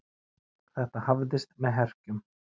Þetta hafðist með herkjum.